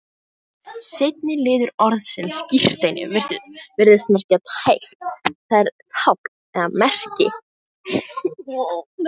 Seinni liður orðsins skírteini virðist því merkja teikn, það er tákn eða merki.